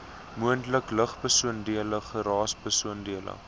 moontlike lugbesoedeling geraasbesoedeling